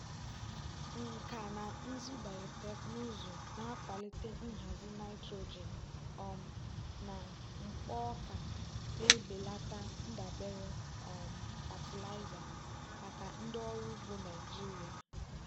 nkà na ụzụ bayoteknụzụ na-akwalite nhazi nitrogen um na mkpo ọka na-ebelata ndabere um fatịlaịza maka ndị ọrụ ugbo naijiria.